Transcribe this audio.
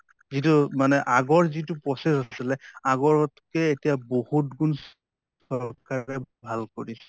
যিটো মানে আগৰ যিটো process আছিলে আগৰ ত্কে এতিয়া বহুত্গুন চৰকাৰে ভাল কৰিছে